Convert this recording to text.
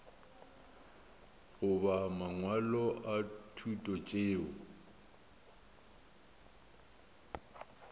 goba mangwalo a thuto tšeo